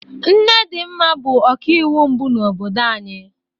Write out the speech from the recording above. Nne Dinma bụ ọkaiwu mbụ n'obodo anyị.